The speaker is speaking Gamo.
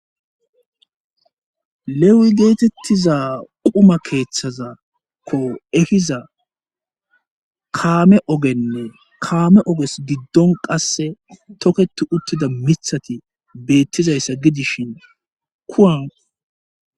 lewi geetettiza quma keeththazakko efiza kaame ogenne kaame oges giddon qasse toketi uttida mithati beettizayssa gidishin kuan